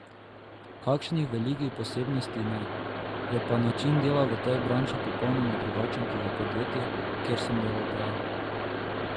Kakšnih velikih posebnosti ne, je pa način dela v tej branži popolnoma drugačen kot v podjetjih, kjer sem delal prej.